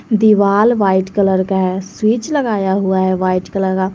दीवाल white colour का है स्विच लगाया हुआ है वाइट कलर का।